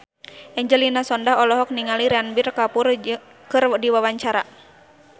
Angelina Sondakh olohok ningali Ranbir Kapoor keur diwawancara